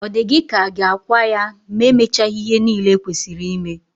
Ọ dị gị ka a ga-akwa ya ma e mechaghị ihe niile e kwesịrị ime?